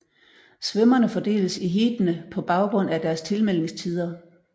Svømmerne fordeles i heatene på baggrund af deres tilmeldingstider